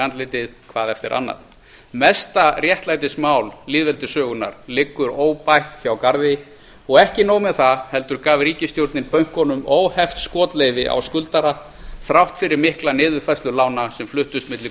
andlitið hvað eftir annað mesta réttlætismál lýðveldissögunnar liggur óbætt hjá garði og ekki nóg með það heldur gaf ríkisstjórnin bönkunum óheft skotleyfi á skuldara þrátt fyrir mikla niðurfærslu lána sem fluttust milli